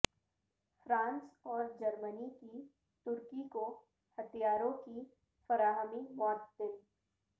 France اور جرمنی کی ترکی کو ہتھیاروں کی فراہمی معطل